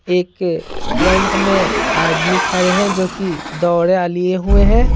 एक फ्रंट में आदमी खड़े हैं जो कि दौड़ा लिए हुए हैं।